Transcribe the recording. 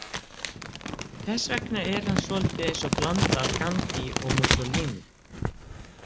Þess vegna er hann svolítið eins og blanda af Gandhi og Mussolini.